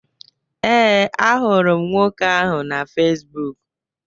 ee, ahụrụ m nwoke ahụ na Facibụkụ